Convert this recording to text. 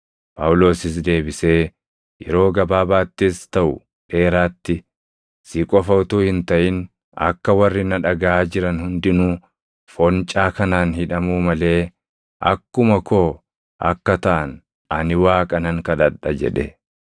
Phaawulosis deebisee, “Yeroo gabaabaattis taʼu dheeraatti, si qofa utuu hin taʼin akka warri na dhagaʼaa jiran hundinuu foncaa kanaan hidhamuu malee akkuma koo akka taʼan ani Waaqa nan kadhadha” jedhe.